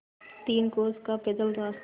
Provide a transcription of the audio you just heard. तीन कोस का पैदल रास्ता